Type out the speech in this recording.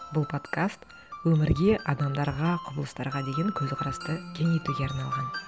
бұл подкаст өмірге адамдарға құбылыстарға деген көзқарасты кеңейтуге арналған